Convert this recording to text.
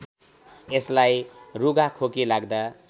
यसलाई रुघाखोकी लाग्दा